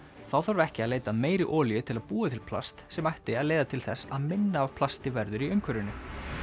þá þarf ekki að leita að meiri olíu til að búa til plast sem ætti að leiða til þess að minna af plasti verður í umhverfinu